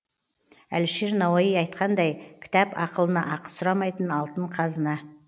әлішер науаи айтқандай кітап ақылына ақы сұрамайтын алтын қазына